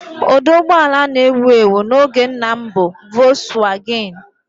Ụdị ụgbọ ala a na-ewu ewu n'oge nna m bụ Volkswagen